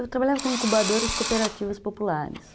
Eu trabalhava como incubadora de cooperativas populares.